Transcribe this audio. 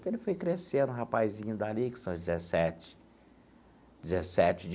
Então, ele foi crescendo, um rapazinho dali, que são dezessete dezessete